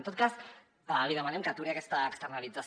en tot cas li demanem que aturi aquesta externalització